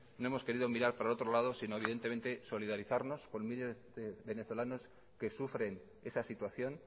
no hemos querido mirar para otro lado sino evidentemente solidarizarnos con miles de venezolanos que sufren esa situación